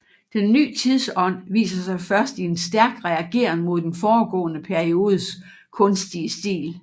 Den ny tidsånd viser sig først i en stærk reageren mod den foregående periodes kunstige stil